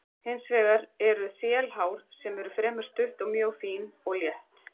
Hins vegar eru þelhár sem eru fremur stutt og mjög fín og létt.